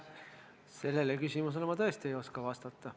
Sellele küsimusele ma tõesti ei oska vastata.